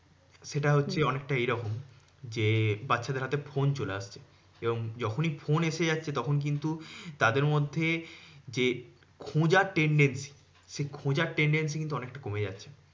সেটা হচ্ছে অনেকটা এরকম যে, বাচ্চাদের হাতে ফোন চলে আসছে। এবং যখনি ফোন চলে আসছে, তখন কিন্তু তাদের মধ্যে যে খোঁজার tendency সেই খোঁজার tendency কিন্তু অনেকটা কমে যাচ্ছে।